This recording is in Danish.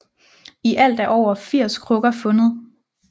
I alt er over 80 krukker fundet